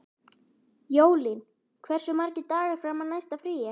Jólín, hversu margir dagar fram að næsta fríi?